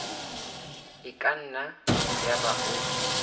e ka nna yaba o